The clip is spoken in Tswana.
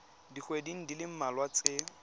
dikgweding di le mmalwa tse